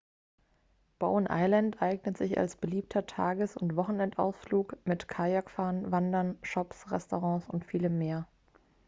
bowen island eignet sich als beliebter tages oder wochenendausflug mit kajakfahren wandern shops restaurants und vielem mehr